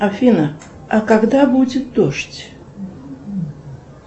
афина а когда будет дождь